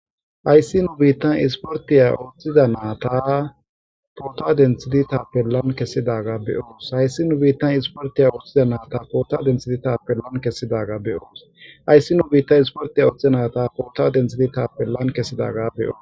ayssi nu biittan isportiya oththida naata poota densidi taappe lan kessidaga beyoos hayssi nu biittan isportiya ooththida naata poota densidi taappe lan kessidaga beyoos ayssi nu biitta isportiya oththiza naata poota dentsidi taappe lan kessidaga beyoos